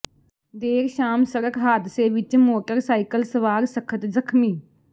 ਦੇਰ ਸ਼ਾਮ ਸੜਕ ਹਾਦਸੇ ਵਿਚ ਮੋਟਰਸਾਈਕਲ ਸਵਾਰ ਸਖ਼ਤ ਜ਼ਖ਼ਮੀ